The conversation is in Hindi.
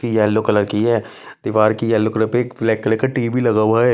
येलो कलर की है दीवार की येलो कलर पे एक ब्लैक कलर का टीवी लगा हुआ है।